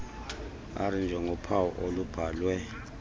r njengophawu olubhalwe